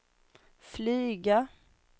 flyga